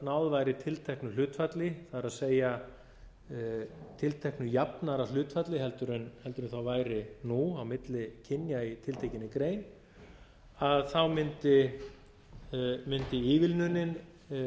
náð væri tilteknu hlutfalli það er tilteknu jafnara hlutfalli en það væri nú á milli kynja í tiltekinni grein mundi ívilnunin